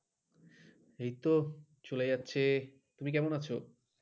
এইতো চলে যাচ্ছে তুমি কেমন আছো?